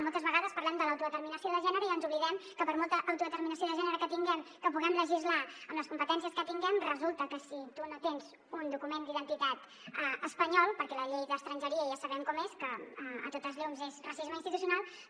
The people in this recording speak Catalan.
moltes vegades parlem de l’autodeterminació de gènere i ens oblidem que per molta autodeterminació de gènere que tinguem que puguem legislar amb les competències que tinguem resulta que si tu no tens un document d’identitat espanyol perquè la llei d’estrangeria ja sabem com és que a totes llums és racisme institucional